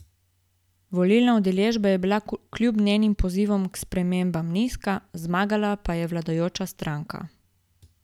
Volilna udeležba je bila kljub njenim pozivom k spremembam nizka, zmagala pa je vladajoča stranka.